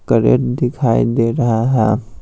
Crate दिखाई दे रहा है।